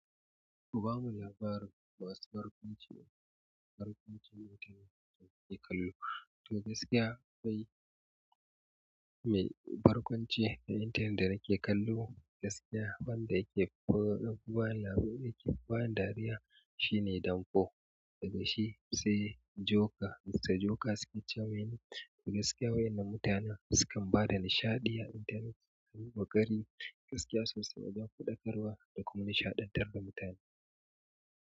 Kuba mun labarin wasu barkwanci, barkwancin intanet da kake kallo. To gaskiya kai mai barkwanci a intanet da nake kallo gaskiya wanda yake ba labarai, yake ba da dariya shine Danfo. Daga shi sai joker Mr. Joker suke ce mini. Gaskiya wa'innan mutanen sukan bada nishaɗi a intanet. Sunyi ƙoƙari gaskiya sosai wajen faɗakarwa da kuma nishaɗantar da mutane.